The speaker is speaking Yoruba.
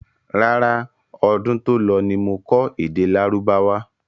Rárá, ọdún to lọ ní mo kọ́ èdè lárúbáwá.